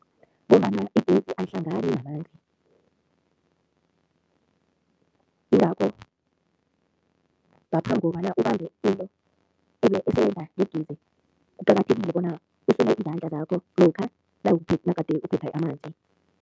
Ngombana igezi ayihlangani namanzi, yingakho ngaphambi kobana ubambe into esebenza ngegezi, kuqakathekile bona usule izandla zakho lokha nagade uphethe amanzi.